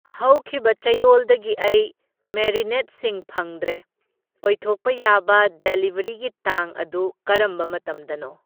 ꯍꯧꯈꯤꯕ ꯆꯌꯣꯜꯗꯒꯤ ꯑꯩ ꯃꯦꯔꯤꯅꯦꯠꯁꯤꯡ ꯐꯪꯗ꯭ꯔꯦ, ꯑꯣꯏꯊꯣꯛꯄ ꯌꯥꯕ ꯗꯦꯂꯤꯕꯔꯤꯒꯤ ꯇꯥꯡ ꯑꯗꯨ ꯀꯔꯝꯕ ꯃꯇꯝꯗꯅꯣ?